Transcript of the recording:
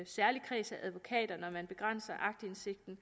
særlig kreds af advokater når man begrænser aktindsigten